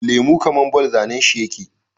Lemo kaman ball zAnan shi yake